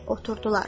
Oturdular.